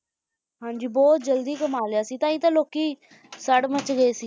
ਹਾਂ ਜੀ ਬਹੁਤ ਜਲਦੀ ਕਮਾ ਲਿਆ ਸੀ ਤਾਂ ਹੀ ਤਾਂ ਲੋਕੀ ਸੜ ਮੱਚ ਗਏ